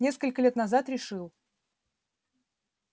несколько лет назад решил